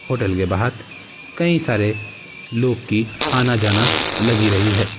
Hotel के बाहर कई सारे लोग की आना जाना लगी रही है।